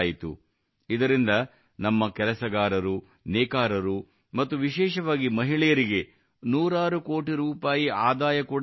ಇದರಿಂದ ನಮ್ಮ ಕೆಲಸಗಾರರು ನೇಕಾರರು ಮತ್ತು ವಿಶೇಷವಾಗಿ ಮಹಿಳೆಯರಿಗೆ ನೂರಾರು ಕೋಟಿ ರೂಪಾಯಿ ಆದಾಯ ಕೂಡಾ ಬಂದಿದೆ